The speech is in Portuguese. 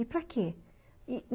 E para quê?